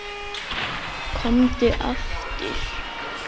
Komdu aftur.